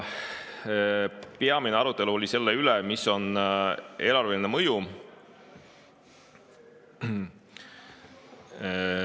Peamine arutelu oli selle üle, mis on eelarveline mõju.